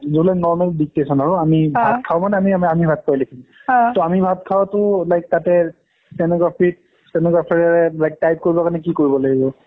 জিবিলাক normal dictation আৰু আমি ভাট খাওঁ মানে, আমি~ আমি ভাট খাওঁ এ লিখিম । ত আমি ভাট খাওঁটো like তাতে stenography ত stenographer like type কৰিলে মানে কি কৰিব লাগিব?